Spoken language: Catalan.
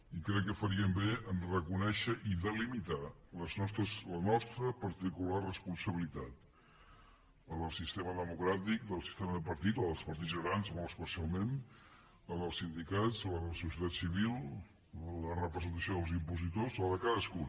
i crec que faríem bé a reconèixer i delimitar la nostra particular responsabilitat la del sistema democràtic la del sistema de partits la dels partits grans molt especialment la dels sindicats la de la societat civil la de la representació dels impositors la de cadascú